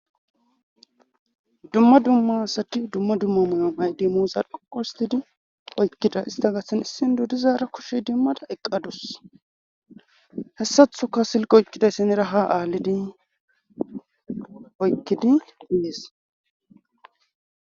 Dumma dumma asati dumma dumma mayo mayde mooza qoqostidi oykkida ista gasan issin dodizaara koshey dimmada eqqadus hessathoka silqo ykkiday senera ha aalidi oykkidi hindis.